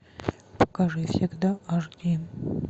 покажи всегда аш ди